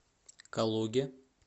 калуге